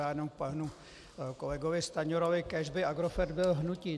Já jenom k panu kolegovi Stanjurovi: Kéž by Agrofert byl hnutí!